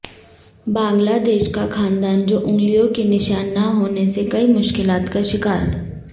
بنگلہ دیش کا خاندان جو انگلیوں کے نشان نہ ہونے سے کئی مشکلات کا شکار